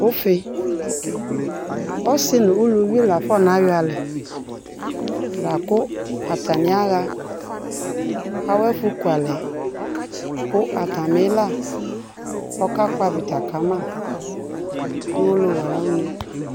ʋƒii, ɔsii ʋlʋvi laƒɔna yɔ alɛ lakʋ atani aha awʋ ɛƒʋ kʋalɛ kʋ atami ila ɔka kpɔ avita kama nʋɔwɔlɔwʋ ayi ʋnɛ